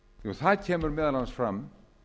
það kemur meðal annars fram